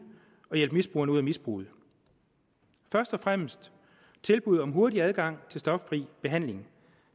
at hjælpe misbrugerne ud af misbruget først og fremmest tilbud om hurtig adgang til stoffri behandling